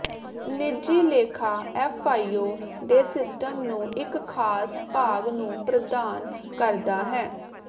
ਨਿੱਜੀ ਲੇਖਾ ਐਫਆਈਯੂ ਦੇ ਸਿਸਟਮ ਨੂੰ ਇੱਕ ਖਾਸ ਭਾਗ ਨੂੰ ਪ੍ਰਦਾਨ ਕਰਦਾ ਹੈ